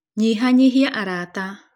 Nyihanyihia arata.